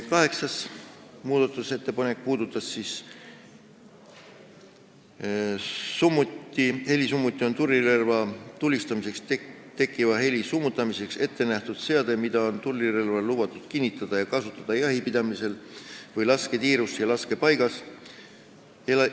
Kaheksas muudatusettepanek puudutas helisummutit: "Helisummuti on tulirelvaga tulistamisel tekkiva heli summutamiseks ettenähtud seade, mida on tulirelvale lubatud kinnitada ja kasutada jahipidamisel või lasketiirus või laskepaigas.